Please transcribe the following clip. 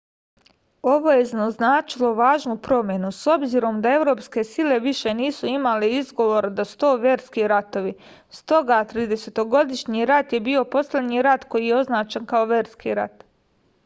ovo je označilo važnu promenu s obzirom da evropske sile više nisu imale izgovor da su to verski ratovi stoga tridesetogodišnji rat je bio poslednji rat koji je označen kao verski rat